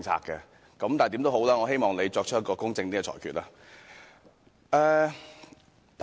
但無論如何，我希望你作出公正的裁決。